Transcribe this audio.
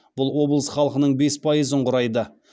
бұл облыс халқының бес пайызын құрайды